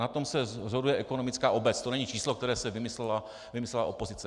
Na tom se shoduje ekonomická obec, to není číslo, které si vymyslela opozice.